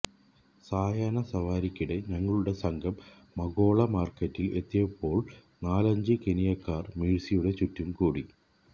സായാഹ്ന സവാരിക്കിടെ ഞങ്ങളുടെ സംഘം മകോള മാര്ക്കറ്റില് എത്തിയപ്പോള് നാലഞ്ച് കെനിയക്കാര് മേഴ്സിയുടെ ചുറ്റും കൂടി